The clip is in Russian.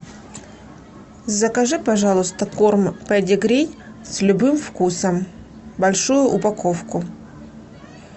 закажи пожалуйста корм педигри с любым вкусом большую упаковку